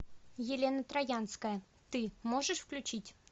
елена троянская ты можешь включить